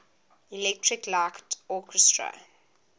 electric light orchestra